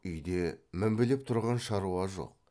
үйде мінбелеп тұрған шаруа жоқ